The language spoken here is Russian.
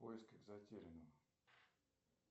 в поисках затерянного